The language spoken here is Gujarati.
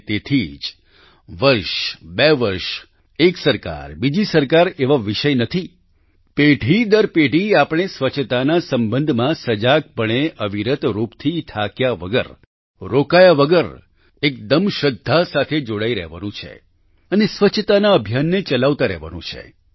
અને તેથી જ વર્ષબે વર્ષ એક સરકાર બીજી સરકાર એવા વિષય નથી પેઢી દર પેઢી આપણે સ્વચ્છતાના સંબંધમાં સજાગ પણે અવિરત રૂપથી થાક્યા વગર રોકાયા વગર એકદમ શ્રદ્ધા સાથે જોડાઈ રહેવાનું છે અને સ્વચ્છતાના અભિયાનને ચલાવતા રહેવાનું છે